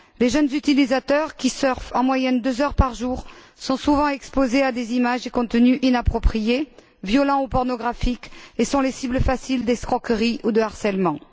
Les jeunes utilisateurs, qui surfent en moyenne deux heures par jour, sont souvent exposés à des images et contenus inappropriés, violents ou pornographiques, et sont les cibles faciles d'escroqueries ou de harcèlements.